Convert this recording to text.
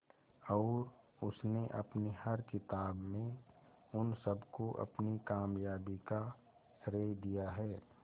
और उसने अपनी हर किताब में उन सबको अपनी कामयाबी का श्रेय दिया है